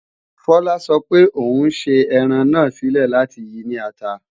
Fola sọ pé ò ń ṣe ẹran náà sílẹ̀ láti yi ní ata